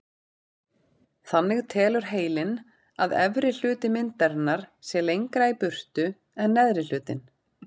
Þannig telur heilinn að efri hluti myndarinnar sé lengra í burtu en neðri hlutinn.